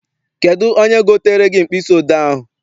Kedụ onye gotere gị mkpịsị odee ahụ?